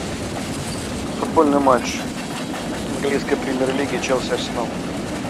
футбольный матч английской премьер лиги челси арсенал